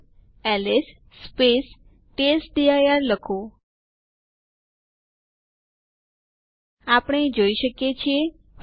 હવે આપણે તેમના ઇડ ને બદલે યુઝરોના નામ જોઈ શકીએ છીએ